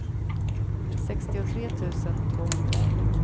sextiotre tusen tvåhundraett